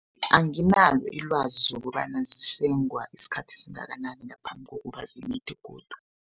Anginalo ilwazi lokobana zesengwa isikhathi esingangani ngaphambi kobana zimithe godu.